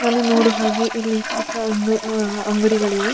ಇದನ್ನು ನೋಡು ಹಾಗೆ ಇಲ್ಲಿ ಚಿಕ್ಕ ಒಂದು ಅಂಗಡಿಗಳಿವೆ.